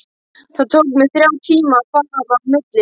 Það tók mig þrjá tíma að fara á milli.